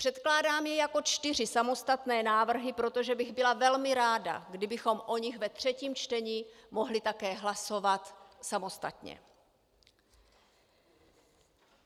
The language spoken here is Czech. Předkládám je jako čtyři samostatné návrhy, protože bych byla velmi ráda, kdybychom o nich ve třetím čtení mohli také hlasovat samostatně.